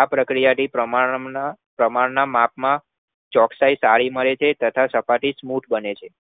આ પ્રક્રિયાથી પ્રમાણના માપમાં ચોકસાઈ તાળી મળે છે તથા સપાટી smuth બને છે